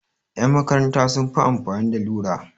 Ƴan makaranta sun fi amfani da lura.